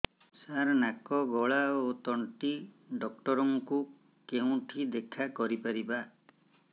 ସାର ନାକ ଗଳା ଓ ତଣ୍ଟି ଡକ୍ଟର ଙ୍କୁ କେଉଁଠି ଦେଖା କରିପାରିବା